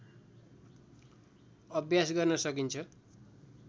अभ्यास गर्न सकिन्छ